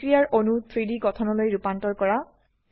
বিক্ৰিয়াৰ অণু 3ডি গঠনলৈ ৰুপান্তৰ কৰা